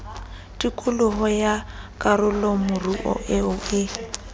tikolo ya karolomoruo eo e